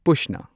ꯄꯨꯁꯅ